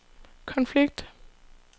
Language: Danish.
konflikt